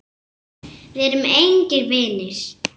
Við erum engir vinir.